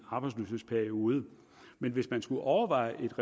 arbejdsløshedsperioden men hvis man skulle overveje et